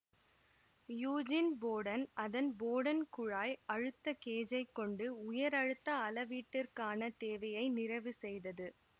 Eugene Bourdon அதன் Bourdon குழாய் அழுத்த கேஜைக் கொண்டு உயர் அழுத்த அளவீட்டிற்கான தேவையை நிறைவு செய்தது